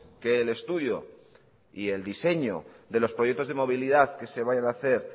que el estudio y el diseño de los proyectos de movilidad que se vayan a hacer